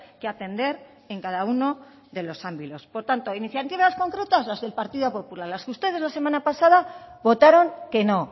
que atender en cada uno de los ámbitos por tanto iniciativas concretas las del partido popular las que ustedes la semana pasada votaron que no